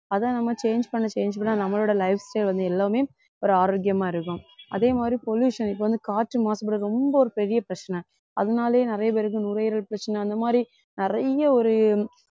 அதை நம்ம change பண்ண change பண்ண நம்மளோட lifestyle வந்து எல்லாமே ஒரு ஆரோக்கியமா இருக்கும் அதே மாதிரி pollution இப்போ வந்து காற்று மாசுபாடு ரொம்ப ஒரு பெரிய பிரச்சனை அதனாலேயே நிறைய பேருக்கு நுரையீரல் பிரச்சனை அந்த மாதிரி நிறைய ஒரு